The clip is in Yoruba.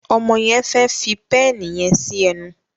Ọmọ yen fè fí pééni yen sí enu.